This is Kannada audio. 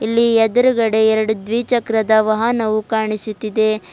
ಇಲ್ಲಿ ಎದ್ರುಗಡೆ ಎರಡು ದ್ವಿಚಕ್ರದ ವಾಹನವು ಕಾಣಿಸುತ್ತಿದೆ.